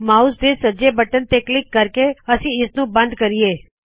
mouse ਦੇ right button ਤੇ click ਕਰਕੇ ਅਸੀ ਇਸਨੂੰ ਬੱਦ ਕਰਿਏ